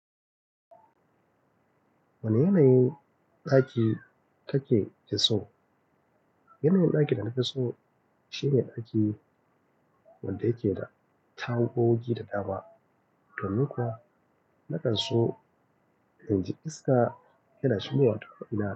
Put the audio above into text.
Wani yanayin ɗaki kake fi so? Yanayin ɗakin da na fi so shine ɗaki wanda yake da tawugugi da dama, domin kuwa na kan so in ji iska tana shigowa tako ina.